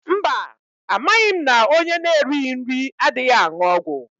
Mba amaghị m na ọnye n'erighi nri adịghị aṅụ ọgwụ.